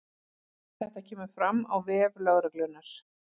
Þetta kemur fram á vef lögreglunnar